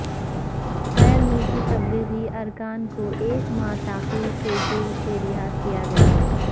غیر ملکی تبلیغی ارکان کو ایک ماہ تاخیر سے جیل سے رہا کیا گیا